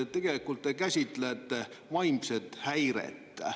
Tegelikult te käsitlete vaimset häiret.